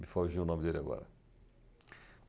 Me foge o nome dele agora.